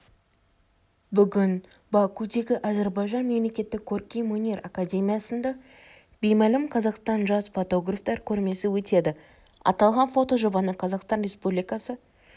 бүгін бакудегі әзербайжан мемлекеттік көркемөнер академиясында беймәлім қазақстан жас фотографтар көрмесі өтеді аталған фотожобаны қазақстан республикасы